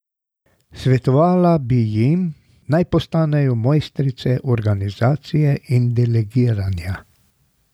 Svetovala bi jim, naj postanejo mojstrice organizacije in delegiranja.